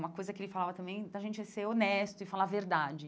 Uma coisa que ele falava também da gente ser honesto e falar a verdade.